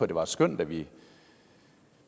det var et skøn da vi